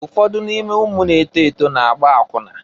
Ụfọdụ n'ime ụmụ na-eto eto na-agba akwụna.